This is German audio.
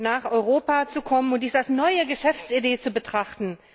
nach Europa zu kommen, und dies als neue Geschäftsidee zu betrachten.